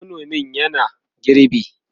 manomin yana girbi